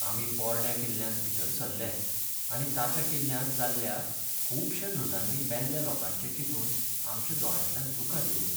आमी पोरण्या किल्ल्यांत भितर सरले आनी ताच्या किल्ल्यांत जाल्ल्या खुबश्या झुजांनी मेल्ल्या लोकांचे चिंतून आमच्या दोळ्यांतल्यान दुकां देंवलीं.